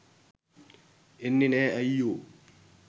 එන්නේ නෑ අයියෝ.